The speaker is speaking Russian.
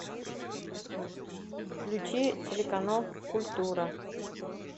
включи телеканал культура